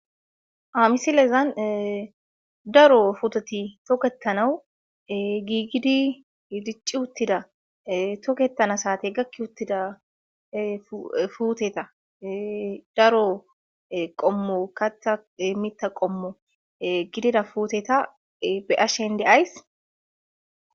Ha misilezan daro putet toketanaw gigid dic utida , toketana saatey gaki utida puteta daro qomo mita qomo gidida puteta be'ashe de'ays.